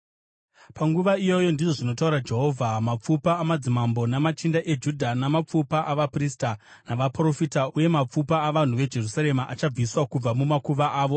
“ ‘Panguva iyoyo, ndizvo zvinotaura Jehovha, mapfupa amadzimambo namachinda eJudha, namapfupa avaprista navaprofita, uye mapfupa avanhu veJerusarema, achabviswa kubva mumakuva avo.